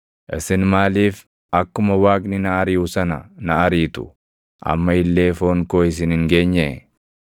Isin maaliif akkuma Waaqni na ariʼu sana na ariitu? Amma illee foon koo isin hin geenyee?